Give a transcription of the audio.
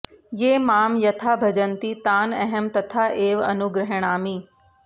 ये मां यथा भजन्ति तान् अहं तथा एव अनुगृह्णामि